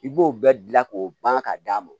I b'o bɛɛ dilan k'o ban ka d'a ma